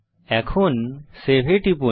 এখন সেভ এ টিপুন